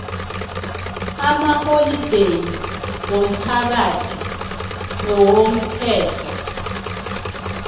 amaholideyi womphakathi nawomthetho